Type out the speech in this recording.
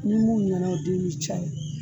Ni mun ɲana o den bi caya